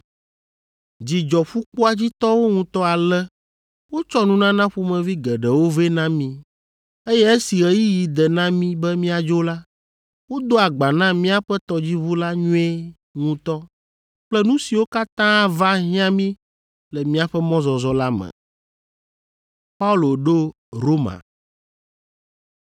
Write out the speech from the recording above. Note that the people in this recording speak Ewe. Dzi dzɔ ƒukpoa dzi tɔwo ŋutɔ ale wotsɔ nunana ƒomevi geɖewo vɛ na mí, eye esi ɣeyiɣi de na mí be míadzo la, wodo agba na míaƒe tɔdziʋu la nyuie ŋutɔ kple nu siwo katã ava hiã mí le míaƒe mɔzɔzɔ la me.